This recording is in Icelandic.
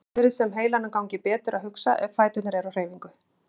Oft virðist sem heilanum gangi betur að hugsa ef fæturnir eru á hreyfingu.